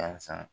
Yasa